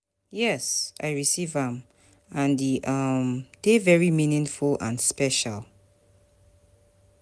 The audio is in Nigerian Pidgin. yes, i receive am, and e um dey very meaningful and special.